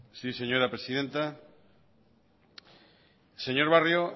sí señora presidenta señor barrio